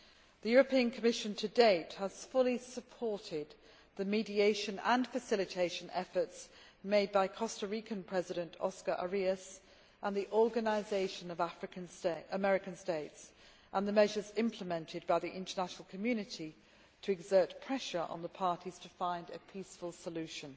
The European Commission to date has fully supported the mediation and facilitation efforts made by Costa Rican President, Oscar Arias, and by the Organisation of American States and the measures implemented by the international community to exert pressure on the parties to find a peaceful solution.